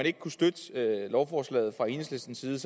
ikke kunne støtte lovforslaget fra enhedslistens side